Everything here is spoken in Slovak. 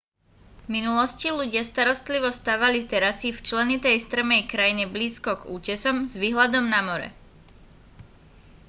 v minulosti ľudia starostlivo stavali terasy v členitej strmej krajine blízko k útesom s výhľadom na more